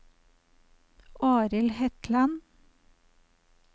Arild Hetland